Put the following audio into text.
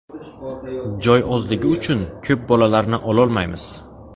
Joy ozligi uchun ko‘p bolalarni ololmaymiz.